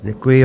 Děkuji.